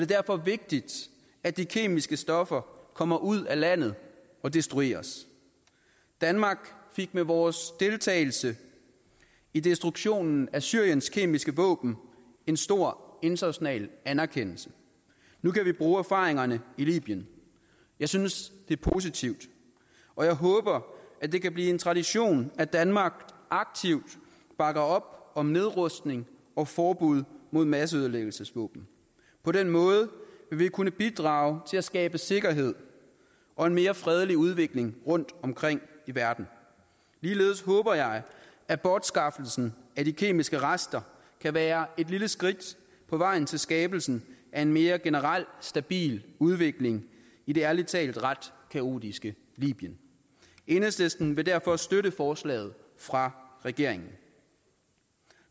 derfor vigtigt at de kemiske stoffer kommer ud af landet og destrueres danmark fik med vores deltagelse i destruktionen af syriens kemiske våben en stor international anerkendelse nu kan vi bruge erfaringerne i libyen jeg synes det er positivt og jeg håber at det kan blive en tradition at danmark aktivt bakker op om nedrustning og forbud mod masseødelæggelsesvåben på den måde vil vi kunne bidrage til at skabe sikkerhed og en mere fredelig udvikling rundtomkring i verden ligeledes håber jeg at bortskaffelsen af de kemiske rester vil være et lille skridt på vejen til skabelsen af en mere generel stabil udvikling i det ærlig talt ret kaotiske libyen enhedslisten vil derfor støtte forslaget fra regeringen